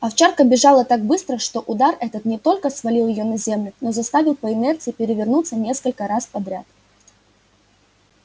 овчарка бежала так быстро что удар этот не только свалил её на землю но заставил по инерции перевернуться несколько раз подряд